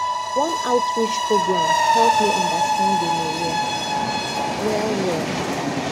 one outreach program help me understand gonorrhea well well